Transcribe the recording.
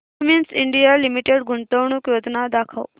Cummins India limited गुंतवणूक योजना दाखव